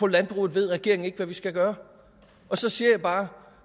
landbruget ved regeringen ikke hvad vi skal gøre og så siger jeg bare